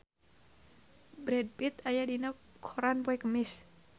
Brad Pitt aya dina koran poe Kemis